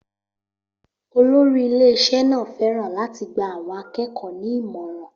Olórí ilé-iṣẹ́ náà fẹ́ràn láti gba àwọn akẹ́kọ̀ọ́ ní ìmọ̀ràn.